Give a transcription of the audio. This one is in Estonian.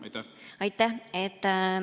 Aitäh!